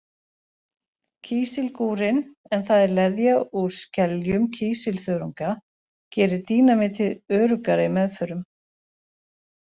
Kísilgúrinn, en það er leðja úr skeljum kísilþörunga, gerir dínamítið öruggara í meðförum.